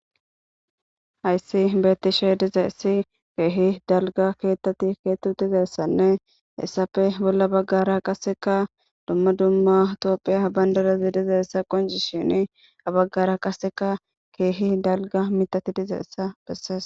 hayssi beettishe dizaessi keehi dalga keettati keettu dizessanne essafe bolla baggara qasseka dumma dumma toophiya bandarazi dizaessa qoncishini abaggara qaseka keehi dalga mitati dizeessa bessees